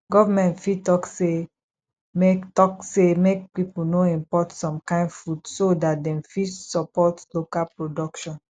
government fit talk sey make talk sey make pipo no import some kind food soo dat dem fit support local production